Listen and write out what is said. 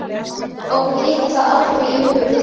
okkur dytti það aldrei í hug.